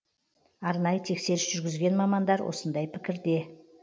арнайы тексеріс жүргізген мамандар осындай пікірде